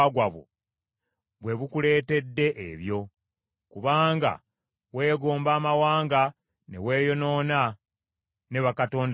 bwe bukuleetedde ebyo, kubanga weegomba amawanga ne weeyonoona ne bakatonda baabwe.